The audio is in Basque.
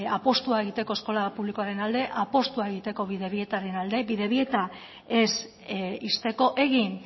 apustua egiteko eskola publikoaren alde apustua egiteko bidebietaren alde bidebieta ez ixteko egin